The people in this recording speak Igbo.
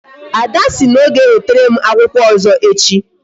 Ada sịrị na ọ ga ewetere m akwụkwọ ọzọ echi